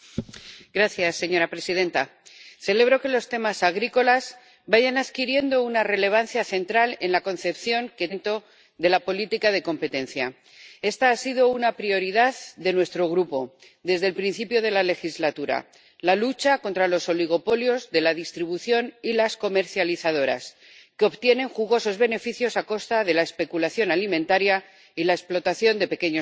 Señora presidenta, celebro que los temas agrícolas vayan adquiriendo una relevancia central en la concepción que tiene este Parlamento de la política de competencia. Esta ha sido una prioridad de nuestro Grupo desde el principio de la legislatura la lucha contra los oligopolios de la distribución y las comercializadoras, que obtienen jugosos beneficios a costa de la especulación alimentaria y la explotación de pequeños campesinos.